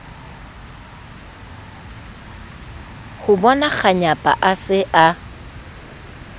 ho bonakganyapa a se a